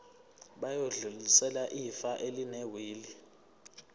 bayodlulisela ifa elinewili